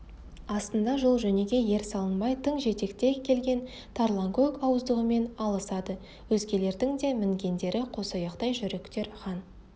астында жол-жөнекей ер салынбай тың жетекте келген тарланкөк ауыздығымен алысады өзгелердің де мінгендері қосаяқтай жүйріктер хан